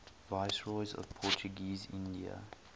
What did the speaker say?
viceroys of portuguese india